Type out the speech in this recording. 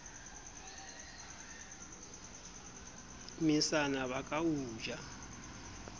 mesana ba ka o ja